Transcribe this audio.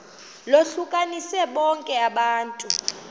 lohlukanise bonke abantu